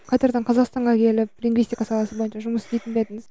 қайтардан қазақстанға келіп лингвистика саласына бойынша жұмыс істейтін бе едіңіз